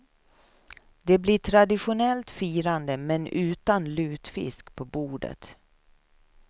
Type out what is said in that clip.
Det blir traditionellt firande men utan lutfisk på bordet.